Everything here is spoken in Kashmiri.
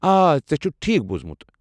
آ، ژےٚ چھُتھ ٹھیٖکھ بوُزمُت۔